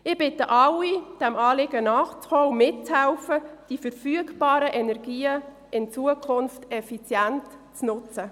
Ich bitte alle, diesem Anliegen nachzukommen und mitzuhelfen, die verfügbaren Energien in Zukunft effizient zu nutzen.